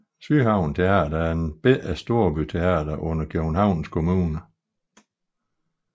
Sydhavn Teater er et lille storbyteater under Københavns Kommune